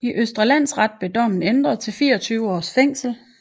I Østre Landsret blev dommen ændret til 24 års fængsel